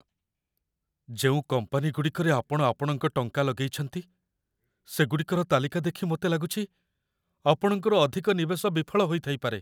ଯେଉଁ କମ୍ପାନୀଗୁଡ଼ିକରେ ଆପଣ ଆପଣଙ୍କ ଟଙ୍କା ଲଗେଇଛନ୍ତି, ସେଗୁଡ଼ିକର ତାଲିକାଦେଖି ମୋତେ ଲାଗୁଛି, ଆପଣଙ୍କର ଅଧିକ ନିବେଶ ବିଫଳ ହୋଇଥାଇପାରେ।